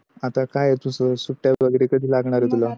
आता काय तुझ सुटी वगेरे कधि लग्नार आहे तुला?